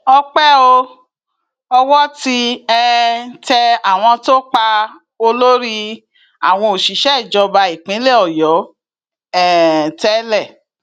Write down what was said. ọpẹ o owó ti um tẹ àwọn tó pa olórí àwọn òṣìṣẹ ìjọba ìpínlẹ ọyọ um tẹlẹ